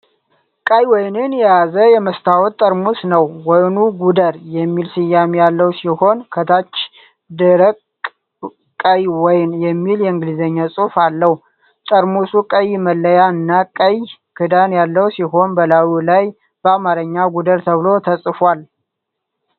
ቀይ ወይን የያዘ የመስታወት ጠርሙስ ነው። ወይኑ "ጉደር" የሚል ስያሜ ያለው ሲሆን፣ ከታችም "ደረቅ ቀይ ወይን" የሚል የእንግሊዝኛ ጽሑፍ አለው። ጠርሙሱ ቀይ መለያ እና ቀይ ክዳን ያለው ሲሆን፣ በላዩ ላይ በአማርኛ "ጉደር" ተብሎ ተጽፏል።